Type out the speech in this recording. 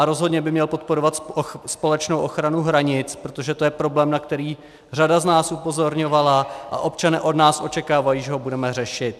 A rozhodně by měl podporovat společnou ochranu hranic, protože to je problém, na který řada z nás upozorňovala, a občané od nás očekávají, že ho budeme řešit.